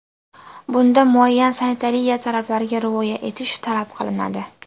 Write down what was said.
Bunda muayyan sanitariya talablariga rioya etish talab qilinadi.